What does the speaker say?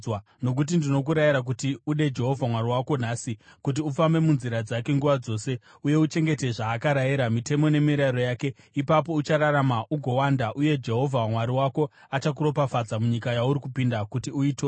Nokuti ndinokurayira kuti ude Jehovha Mwari wako nhasi, kuti ufambe munzira dzake nguva dzose uye uchengete zvaakarayira, mitemo nemirayiro yake; ipapo uchararama ugowanda, uye Jehovha Mwari wako achakuropafadza munyika yauri kupinda kuti uitore.